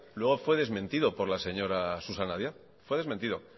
luego fue desmentido por la señora susana díaz fue desmentido